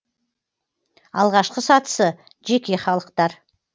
алғашқы сатысы жеке халықтар